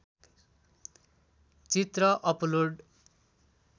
चित्र अपलोड